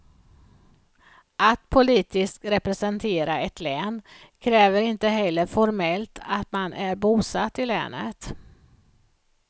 Att politiskt representera ett län kräver inte heller formellt att man är bosatt i länet.